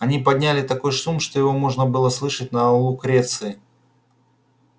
они подняли такой шум что его можно было слышать на лукреции